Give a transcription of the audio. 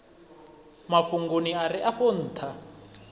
mafhungoni a re afho ntha